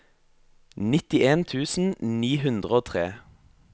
nittien tusen ni hundre og tre